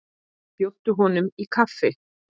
Bjóddu honum inn í kaffi.